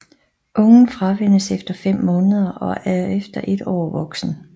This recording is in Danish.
Ungen fravænnes efter fem måneder og er efter et år voksen